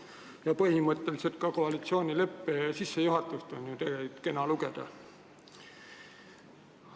Ja põhimõtteliselt on ka koalitsioonileppe sissejuhatust tegelikult kena lugeda.